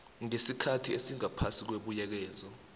ngesikhathi esingaphasi kwebuyekezo